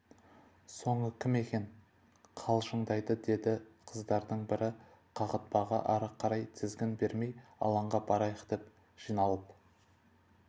соңы кім екен қалжыңдайды деді қыздардың бір қағытпаға ары қарай тізгін бермей алаңға барайық деп жиналып